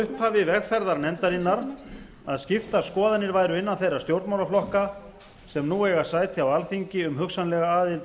upphafi vegferðar nefndarinnar að skiptar skoðanir væru innan þeirra stjórnmálaflokka sem nú eiga sæti á alþingi um hugsanlega aðild